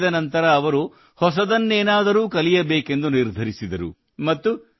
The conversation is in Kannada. ನಿವೃತ್ತಿ ಹೊಂದಿದ ನಂತರ ಅವರು ಹೊಸದನ್ನೇನಾದರೂ ಕಲಿಯಬೇಕೆಂದು ನಿರ್ಧರಿಸಿದರು